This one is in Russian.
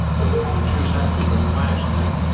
ну и что сейчас ты понимаешь нет